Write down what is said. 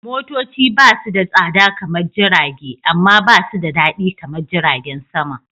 Motoci basu da tsada kaman Jirage, amma ba su da daɗi kamar jiragen sama.